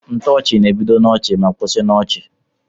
Ntoochi na ebido na ọchi ma kwụsi na ọchi.